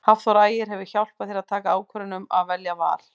Hafþór Ægir hefur hjálpað þér að taka ákvörðun um að velja Val?